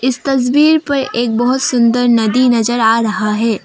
इस तस्वीर पर एक बहोत सुंदर नदी नजर आ रहा है।